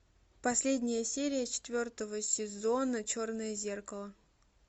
последняя серия четвертого сезона черное зеркало